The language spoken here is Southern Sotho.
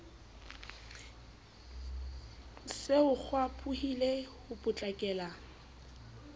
se ho kgwaphohile ho potlakela